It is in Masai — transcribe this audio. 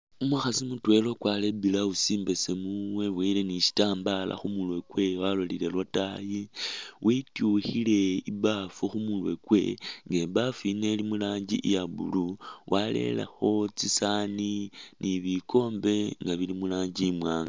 Umukhasi mutwela ukwarire i'blouse imbesemu weboyile ni shitambala khu murwe kwewe walolile lataayi, wetukhile i'baafu khu murwe kwe nga ibaafu yino ili mu rangi ya blue warerekho tsisaani ni bikombe nga bili mu rangi imwaanga.